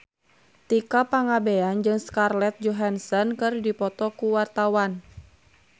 Tika Pangabean jeung Scarlett Johansson keur dipoto ku wartawan